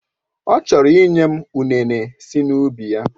Ọ chọrọ ịnye m ụnene si n'ubi ya.